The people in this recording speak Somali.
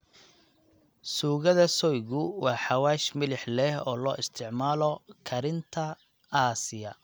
Suugada soygu waa xawaash milix leh oo loo isticmaalo karinta Aasiya.